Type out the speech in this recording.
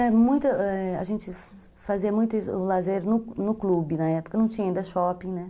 A gente fazia muito lazer no clube, na época não tinha ainda shopping, né?